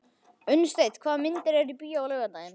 Unnsteinn, hvaða myndir eru í bíó á laugardaginn?